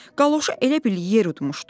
Qaloşu elə bil yer yutmuşdu.